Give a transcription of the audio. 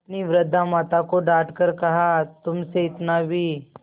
अपनी वृद्धा माता को डॉँट कर कहातुमसे इतना भी